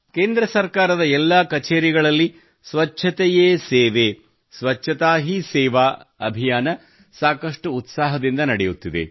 ಕೇಂದ್ರ ಸರ್ಕಾರದ ಎಲ್ಲಾ ಕಚೇರಿಗಳಲ್ಲಿ ಸ್ವಚ್ಛತೆಯೇ ಸೇವೆ ಸ್ವಚ್ಛತಾ ಹೀ ಸೇವಾ ಅಭಿಯಾನ ಸಾಕಷ್ಟು ಉತ್ಸಾಹದಿಂದ ನಡೆಯುತ್ತಿದೆ